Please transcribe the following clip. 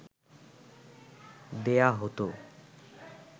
দেয়া হত